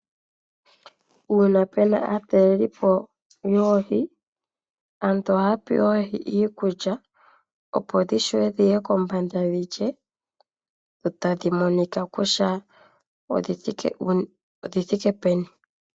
Uuna pu na aataleli po yoohi, aantu ohaya pe oohi iikulya opo dhi vule dhi ye kombanda dhi lye, dho tadhi monika kutya odhi thike peni.